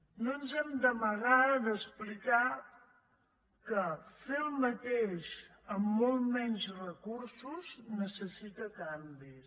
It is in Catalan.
no ens hem d’amagar d’explicar que fer el mateix amb molts menys recursos necessita canvis